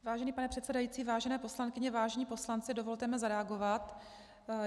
Vážený pane předsedající, vážené poslankyně, vážení poslanci, dovolte mi zareagovat.